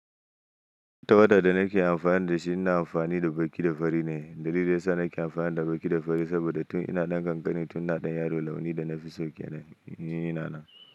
Tawada da nake amfana da shi, ina amfani da baki da fari ne. Dalilin sa nake amfani da baki da fari saboda tun ina ɗan kankani tun na ɗan yaro, launi da na fi so kenan in ya na nan.